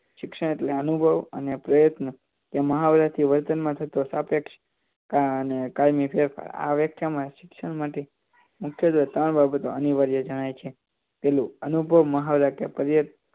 શિક્ષણ એટલે અનુભવ અને પ્રયત્નો તે વતનમાં થતો સાપેક્ષ અને કાયમી ફેરફાર આ વ્યાખ્યામાં શિક્ષણ માટે મુખ્ય ત્રણ બાબતો અનિવાર્ય જણાય છે પહેલુ અનુભવ મહા વ્યાખ્યા પર્ય